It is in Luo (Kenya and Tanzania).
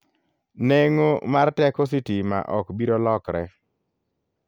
Neng'o mar teko sitima ok biro lokre.